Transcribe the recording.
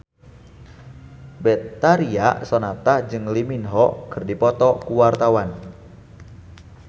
Betharia Sonata jeung Lee Min Ho keur dipoto ku wartawan